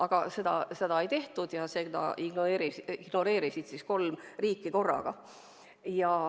Aga seda ei tehtud ja seda ignoreerisid kolm riiki korraga.